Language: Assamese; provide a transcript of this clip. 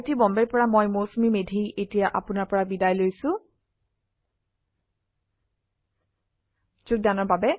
আই আই টী বম্বে ৰ পৰা মই মৌচুমী মেধী এতিয়া আপুনাৰ পৰা বিদায় লৈছো যোগদানৰ বাবে ধন্যবাদ